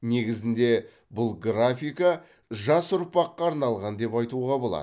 негізінде бұл графика жас ұрпаққа арналған деп айтуға болады